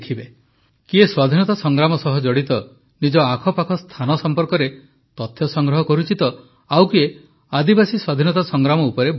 କିଏ ସ୍ୱାଧୀନତା ସଂଗ୍ରାମ ସହ ଜଡ଼ିତ ନିଜ ଆଖାପାଖ ସ୍ଥାନ ସମ୍ପର୍କରେ ତଥ୍ୟ ସଂଗ୍ରହ କରୁଛି ତ ଆଉ କିଏ ଆଦିବାସୀ ସ୍ୱାଧୀନତା ସଂଗ୍ରାମ ଉପରେ ବହି ଲେଖୁଛି